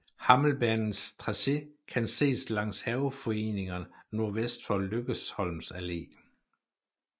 Hammelbanens tracé kan ses langs haveforeningerne nordvest for Lykkesholms Alle